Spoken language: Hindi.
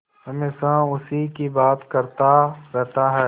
हमेशा उसी की बात करता रहता है